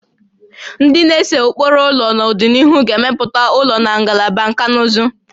Ndị na-ese ụkpụrụ ụlọ n'ọdịnihu ga-emepụta ụlọ na Ngalaba Nkà na ụzụ